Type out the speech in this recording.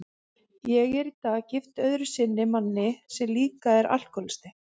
Ég er í dag gift öðru sinni manni sem líka er alkohólisti.